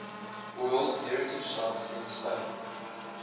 world heritage sites in spain